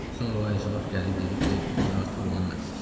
Sonra o əclaf gəlib dedi ki, biz artıq ona məxsusuq.